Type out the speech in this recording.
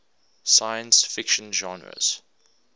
science fiction genres